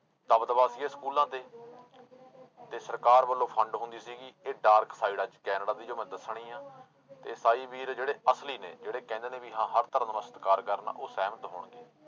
ਦਬਦਬਾ ਸੀ ਇਹ ਸਕੂਲਾਂ ਤੇ ਤੇ ਸਰਕਾਰ ਵੱਲੋਂ fund ਹੁੰਦੀ ਸੀਗੀ ਇਹ dark side ਅੱਜ ਕੈਨੇਡਾ ਦੀ ਜੋ ਮੈਂ ਦੱਸਣੀ ਆਂ ਤੇ ਇਸਾਈ ਵੀਰ ਜਿਹੜੇ ਅਸਲੀ ਨੇ, ਜਿਹੜੇ ਕਹਿੰਦੇ ਨੇ ਵੀ ਹਾਂ ਹਰ ਧਰਮ ਦਾ ਸਤਿਕਾਰ ਕਰਨਾ ਉਹ ਸਹਿਮਤ ਹੋਣਗੇ।